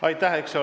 Aitäh!